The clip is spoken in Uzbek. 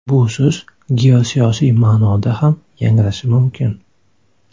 Bu so‘z geosiyosiy ma’noda ham yangrashi mumkin.